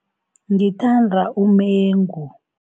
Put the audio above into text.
Ngithanda umengu.